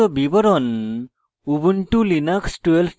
পর্লের সংক্ষিপ্ত বিবরণ